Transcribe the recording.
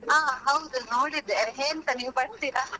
ಹಾ ಹೌದು ನೋಡಿದ್ದೆ ಎಂತ ನೀವು ಬರ್ತೀರಾ?